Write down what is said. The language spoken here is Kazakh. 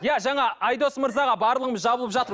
иә жаңа айдос мырзаға барлығымыз жабылып жатыр